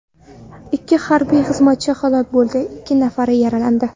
Ikki harbiy xizmatchi halok bo‘ldi, ikki nafari yaralandi.